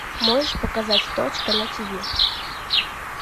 можешь показать точка на тиви